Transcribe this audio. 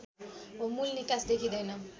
मूल निकास देखिँदैन